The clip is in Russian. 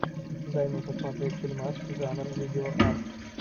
дай мне посмотреть фильмас жанр видеоарт